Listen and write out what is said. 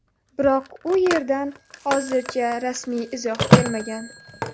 Biroq u yerdan hozircha rasmiy izoh kelmagan.